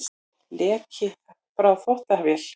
Leki frá þvottavél